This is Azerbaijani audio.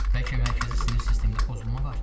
Bəlkə mərkəzi sinir sistemində pozulma var?